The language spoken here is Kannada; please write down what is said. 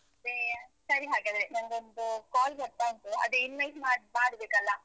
ಮತ್ತೆ, ಸರಿ ಹಾಗಾದ್ರೆ ನಂಗೊಂದು call ಬರ್ತಾ ಉಂಟು, ಅದೇ invite ಮಾಡ್ಬೇಕಲ್ಲ?